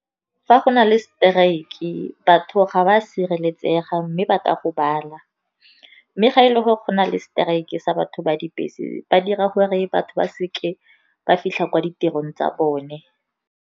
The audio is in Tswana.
Fa go na le strike-e batho ga ba sireletsega, mme ba ka gobala. Mme ga e le gore go na le strike-e sa batho ba dibese, ba dira gore batho ba seke ba fitlha kwa ditirong tsa bone.